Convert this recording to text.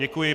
Děkuji.